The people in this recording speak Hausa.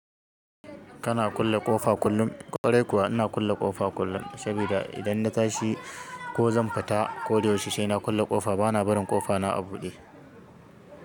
Kana kulle ƙofa kullum? Ƙwarai kuwa ina kulle ƙofa kullum, saboda idan na tashi ko zan fita ko da yaushe sai na kulle ƙofa bana barin ƙofa na a buɗe.